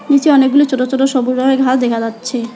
নীচে অনেকগুলো ছোট ছোট সবুজ রঙের ঘাস দেখা যাচ্ছে।